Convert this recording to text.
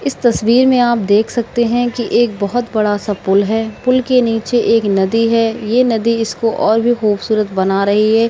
इस तस्वीर में आप देख सकते हैं कि एक बहुत बड़ा-सा पुल है। पुल के नीचे एक नदी है। यह नदी इसको और भी खूबसूरत बना रही है।